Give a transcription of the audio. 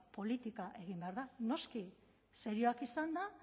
politika egin behar da noski serioak izanda